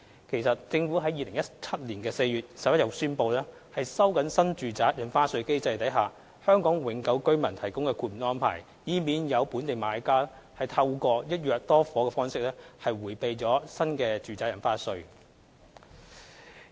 其實，政府在2017年4月11日已宣布，收緊新住宅印花稅機制下為香港永久居民提供豁免的安排，以免有本地買家透過一約多伙的方式迴避新住宅印花稅。